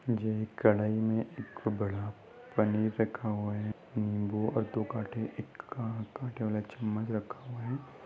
ये एक कड़ाई में एक बड़ा पनीर रखा हुआ है। नीम्बू और दो काटे का एक काटे वाला चमच्च रखा हुआ है।